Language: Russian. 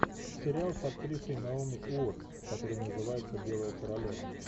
сериал с актрисой наоми уоттс который называется белая королева